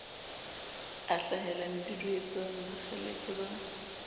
a hlahela meduduetsane bokgeleke ba